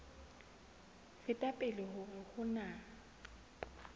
feta pele hore ho na